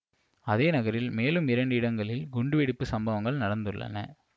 அதே நகரில் மேலும் இரண்டு இடங்களில் குண்டு வெடிப்பு சம்பவங்கள் நடந்துள்ளன